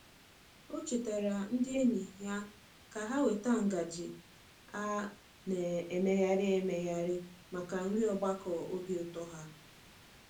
O chetaara ndị enyi ya ka ha weta ngaji a na-emegharị emegharị maka nri ogbakọ obi ụtọ ha.